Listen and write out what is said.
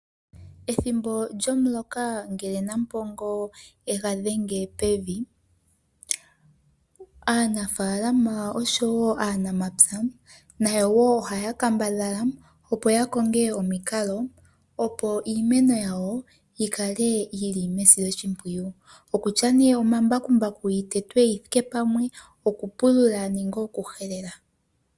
Ethimbo lyomuloka ngele Nampongo e ga dhenge pevi, aanafaalama oshowo aanamapya nayo wo ohaya kambadhala opo ya konge omikalo, opo iimeno yawo yi kale yili mesiloshimpwiyu, okutya nee omambakumbaku, yi tetwe yi thike pamwe, okupulula nenge okuhelela.